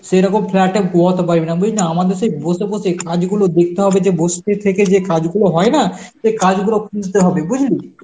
সেরকম flat এ ঘুমাতে পারবি না বুঝলি, আমাদের সেই বসে বসেই কাজগুলো দেখতে হবে যে বসবে থেকে যে কাজগুলো হয় না সে কাজগুলো খুঁজতে হবে, বুঝলি?